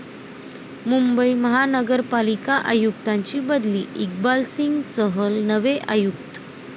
मुंबई महापालिका आयुक्तांची बदली, इक्बालसिंग चहल नवे आयुक्त